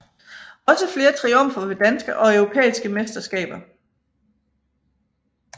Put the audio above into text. Også flere triumfer ved danske og europæiske mesterskaber